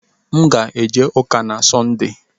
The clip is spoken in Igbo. M ga-eje ụka na Sọnde.